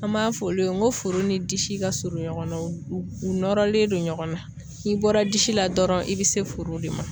An m'a fɔ olu ye n ko furu ni disi ka surun ɲɔgɔn na u u nɔrɔlen don ɲɔgɔn na n'i bɔra disi la dɔrɔn i bi se furu de ma